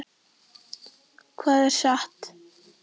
Hvað er satt?